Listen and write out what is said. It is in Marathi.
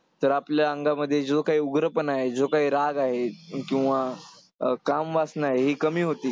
तर आपल्या अंगामध्ये जो काही उग्रपणा आहे, जो काही राग आहे किंवा अं कामवासना आहे ही कमी होते.